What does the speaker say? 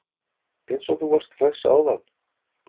Eins og þú varst hress áðan!